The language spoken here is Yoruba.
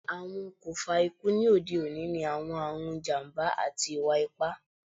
Awọn okunfa iku ni ode oni ni awọn arun, ijamba, ati iwa-ipa